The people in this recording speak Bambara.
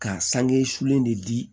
Ka sange sulen de di